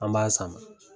An b'a sama